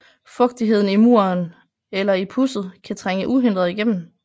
Fugtigheden i muren eller i pudset kan trænge uhindret igennem